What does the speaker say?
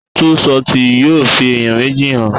Tú ṣọtì yóò fi ẹ̀yàn méjì hàn.